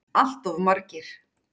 Allt of margir.